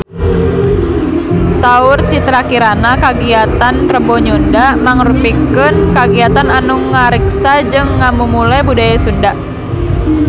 Saur Citra Kirana kagiatan Rebo Nyunda mangrupikeun kagiatan anu ngariksa jeung ngamumule budaya Sunda